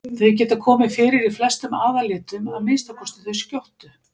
Þau geta komið fyrir í flestum aðallitum, að minnsta kosti þau skjóttu.